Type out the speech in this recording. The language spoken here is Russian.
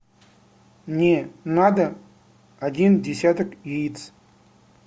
мне надо один десяток яиц